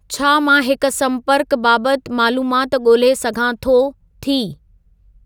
छा मां हिक सम्पर्क बाबति मालूमात ॻोल्हे सघां थो/थी